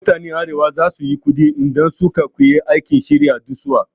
Mutanen arewa za su yi kuɗi idan su ka koyi aikin shirya duwatsu